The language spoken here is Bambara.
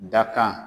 Dakan